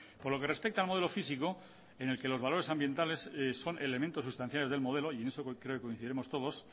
por lo que respecta al modelo físico en el que los valores ambientales son elementos sustanciales del modelo y en eso creo que coincidiremos todos